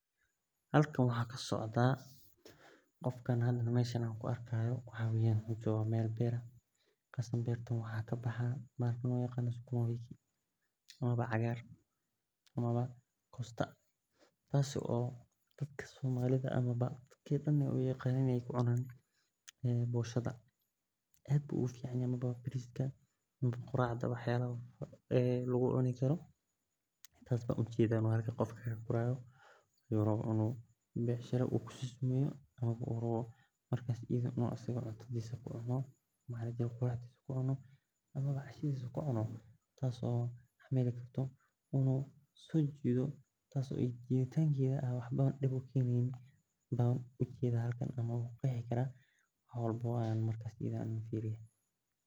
Halkan waxan kasocda qofkan meel beer ayu joga meel cagaran oo sukuma wiki amawa kosta dadka ee ku cunan boshada amawa bariska ama qracda dadka ee wax dan ee ku cuni karan tas ban ujeda in u becshira kusameyo tas oo xamili karto tas ayan ku qexi karaa wax walbo an firiyo markas sas ayan ujeda markas.